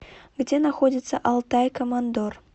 где находится алтай командор